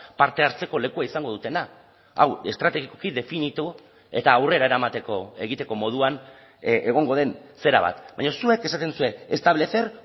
parte hartzeko lekua izango dutena hau estrategikoki definitu eta aurrera eramateko egiteko moduan egongo den zera bat baina zuek esaten duzue establecer